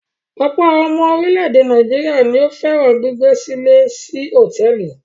Ọ̀pọ̀ àwọn ọmọ orílẹ̀-èdè Nàìjíríà ni yóò fẹ́ràn gbígbé-sílé sí hotẹẹli.